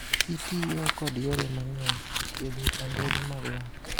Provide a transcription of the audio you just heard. Itiyo kod yore mang`eny e thietho chandruoge mag lak.